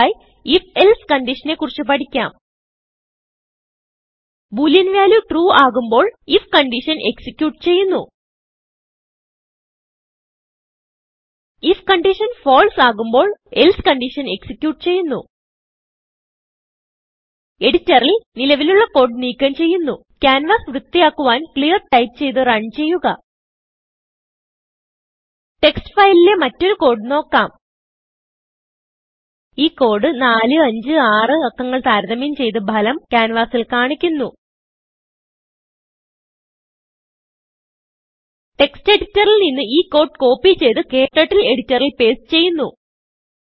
അടുത്തതായി if else കൺഡീഷനെ കുറിച്ച് പഠിക്കാം ബോളിയൻ വാല്യൂ ട്രൂ ആകുമ്പോൾ ifകൺഡീഷൻ എക്സിക്യൂട്ട് ചെയ്യുന്നു ഐഎഫ് conditionഫാൾസ് ആകുമ്പോൾ എൽസെ കൺഡീഷൻ എക്സിക്യൂട്ട് ചെയ്യുന്നു എഡിറ്ററിൽ നിലവിലുള്ള കോഡ് നീക്കം ചെയ്യുന്നു ക്യാൻവാസ് വൃത്തിയാക്കുവാൻ ക്ലിയർ ടൈപ്പ് ചെയ്ത് runചെയ്യുക ടെക്സ്റ്റ് ഫയലിലെ മറ്റൊരു കോഡ് നോക്കാം ഈ കോഡ് 456 numbersതാരതമ്യം ചെയ്ത് ഭലം ക്യാൻവാസിൽ കാണിക്കുന്നു textഎഡിറ്ററിൽ നിന്ന് ഈ കോഡ് കോപ്പി ചെയ്ത് KTurtleഎഡിറ്ററിൽ പേസ്റ്റ് ചെയ്യുന്നു